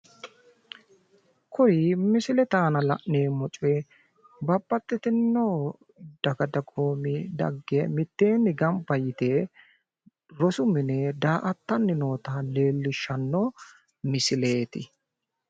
kuri misilete aana la'neemmori babbaxxitino daga dagoomi daggae mitteeni gamba yite rosu mine da"attanni noota leellishshanno misleeti